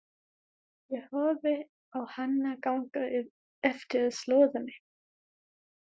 Ég horfi á hana ganga eftir slóðinni.